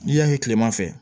N'i y'a ye kilema fɛ